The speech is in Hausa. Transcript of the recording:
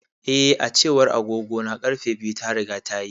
Eh, A cewar agogona, ƙarfe biyu ta riga tayi.